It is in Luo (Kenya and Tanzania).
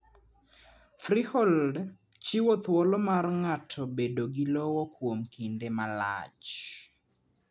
Freehold chiwo thuolo mar ng'ato bedo gi lowo kuom kinde malach.